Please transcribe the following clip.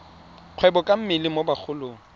kgwebo ka mmele mo bagolong